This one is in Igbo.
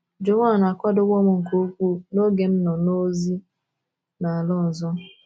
Joan akwadowo m nke ukwuu n’oge m nọ m nọ ozi n'ala ọzọ.